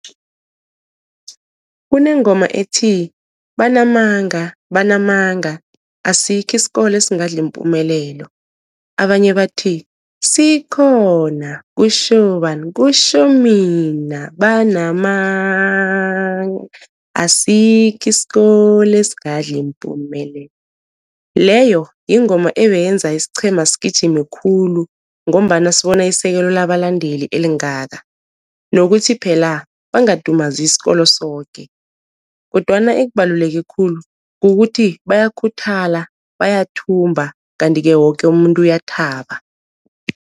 Kunengoma ethi banamanga, banamanga asikho isikolo esingadla iMpumelelo, abanye bathi sikhona kutjho bani, kutjho mina, banamanga asikho isikolo esingadla iMpumelelo, leyo yingoma ebeyenza isiqhema sigijime khulu, ngombana sibona isekelo labalandeli elingaka, nokuthi phela bangadumazi isikolo soke, kodwana ekubaluleke khulu kukuthi bayakhuthala, bayathumba kanti-ke woke umuntu uyathaba.